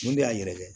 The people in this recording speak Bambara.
Mun de y'a yɛrɛkɛ